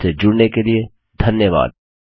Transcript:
हमसे जुड़ने के लिए धन्यवाद